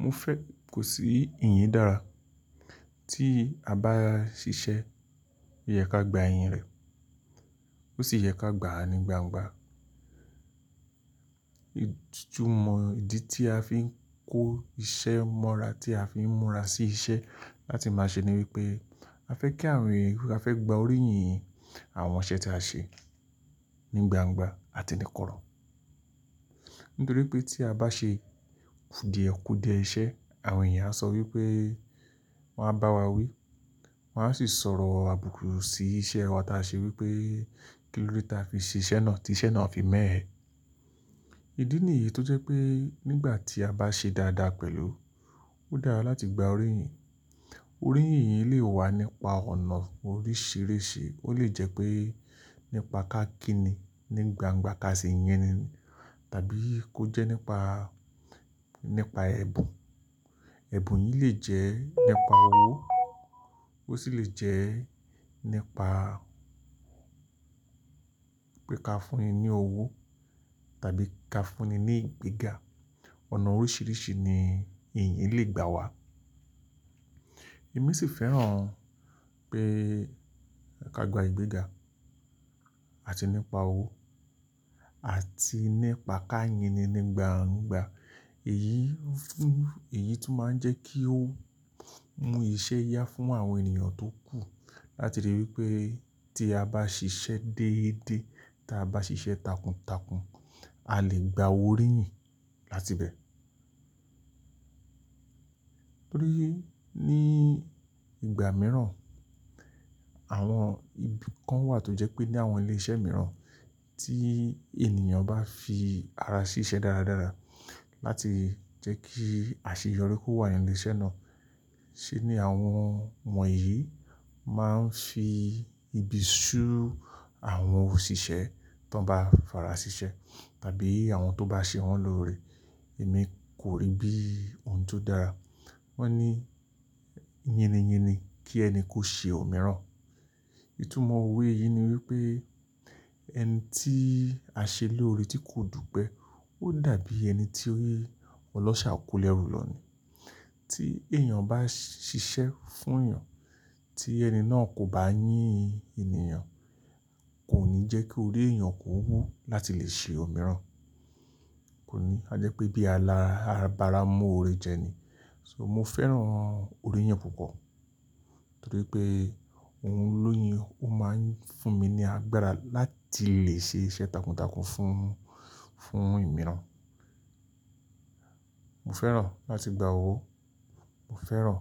Mo fẹ́ kò sí ìyín dára. Tí a bá ṣiṣẹ́, o yẹ ká gba ìyìn rẹ̀, ó sì yẹ ká gbà á ní gbangba. Ìtúmọ̀ ìdí tí a fi ń kó iṣẹ́ mọ́ra tí a fi ń múra sí iṣẹ́ láti máa ṣe ni wípé a fẹ́ kí àwon èeyan a fẹ́ gba oríyìn àwọn iṣẹ́ tí a ṣe ní gbangba àti ní korò. Nítorí pé tí a bá ṣe kùdìẹ̀kùdìẹ iṣẹ́, àwọn èèyàn á sọ wípé, wọ́n á bá wa wí, wọ́n á sì sọ̀rọ̀ àbùkù sí iṣẹ́ wa tí a ṣe wípé kí lóde ta fi ṣe iṣẹ́ náà tí iṣẹ́ náà fi mẹ́ ẹ. Ìdí nìyí tó jẹ́ pé nígbà tí a bá ṣe dáadáa pẹ̀lú, ó dára láti gba oríyìn. Oríyìn yìí lè wá nípa ọ̀nà oríṣìíríṣìí. Ó lè jẹ́ pé nípa kákíni ní gbangba ká sì yin ni ni, tàbí kó jẹ́ nípa, nípa ẹ̀bùn. Ẹ̀bùn yìí lè jẹ́ nípa owó, ó sì lè jẹ́ nípa pé ká fún ni ní owó tàbí ká fún ni ní ìgbéga. Ọ̀nà oríṣìíríṣìí ni ìyìn lè gbà wá. Èmi sì fẹ́ràn pé ká gba ìgbéga àti nípa owó àti nípa ká yìn ni ní gbangba. Èyí fún, èyí tó máa ń jẹ́ kí ó mú iṣẹ́ yá fún àwọn ènìyàn tó kù. Látirí wípé tí a bá ṣiṣẹ́ déédé, tí a bá ṣiṣẹ́ takuntakun, a lè gba oríyìn láti bẹ. Nítorí ní ìgbà mìíràn àwọn ibi kan wà tó jẹ́ pé ní àwọn ilé iṣẹ́ mìíràn tí ènìyàn bá fi ara sí iṣẹ́ dáradára láti jẹ́ kí àṣeyọrí kó wà ní ilé iṣẹ́ náà. Ṣé ní àwọn won yìí máa ń fi ibi ṣú àwọn òṣìṣẹ́ tó ń bá fara sí iṣẹ́ tàbí àwọn tó bá ṣe wọ́n lóore. Èmi kò rí bí ohun tó dára. Wọ́n ní yíníyíni kí ẹni kó ṣe òmíràn. Ìtúmọ̀ òwe yìí ni wípé ẹni tí a ṣe lóore tí kò dùpẹ́ ó dàbí ẹni tí ọlọ́ṣà kò lẹ́rù lọ ni. Tí èèyàn bá ṣiṣẹ́ fún èèyàn tí ẹni náà kò bá yín ènìyàn, kò ní jẹ́ kí orí èèyàn kó wú láti lè ṣe òmíràn. Kò ní, ó jẹ́ pé bí alára abá ra mú oore jẹ ni. So mo fẹ́ràn oríyìn púpọ̀ torí pé òun lóyìn ó máa ń fún mi ní agbára láti lè ṣe iṣẹ́ takuntakun fún, fún imíràn. Mo fẹ́ràn láti gba owó, mo fẹ́ràn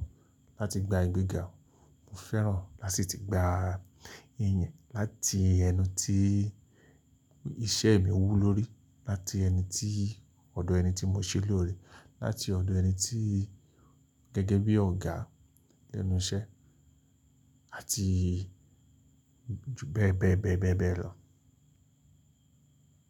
láti gba ìgbéga, mo fẹ́ràn lási ti gba ìyìn láti ẹnu tí iṣẹ́ mi wú lórí, láti ẹni tí ọ̀dọ̀ ẹni tí mo ṣe lóore, láti ọ̀dọ̀ ẹni tí gẹ́gẹ́ bí ọ̀gá ẹnu iṣẹ́ àti ju, bẹ, bẹ, bẹ, bẹ lọ.